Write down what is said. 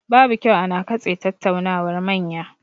Babu kyau ana katse tattaunawar manya.